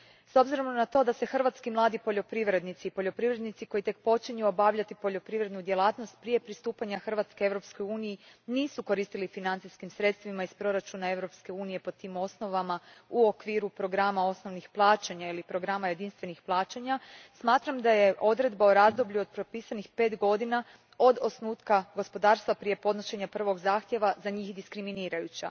S obzirom na to da se hrvatski mladi poljoprivrednici i poljoprivrednici koji tek počinju obavljati poljoprivrednu djelatnost prije pristupanja Hrvatske EU u nisu koristili financijskim sredstvima iz proračuna EU a po tim osnovama u okviru programa osnovnih plaćanja ili programa jedinstvenih plaćanja, smatram da je odredba o razdoblju od propisanih pet godina od osnutka gospodarstva prije podnošenja prvog zahtjeva za njih diskriminirajuća.